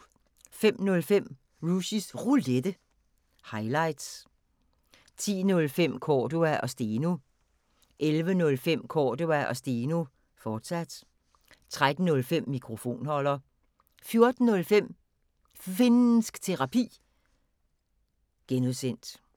05:05: Rushys Roulette – highlights 10:05: Cordua & Steno 11:05: Cordua & Steno, fortsat 13:05: Mikrofonholder 14:05: Finnsk Terapi (G)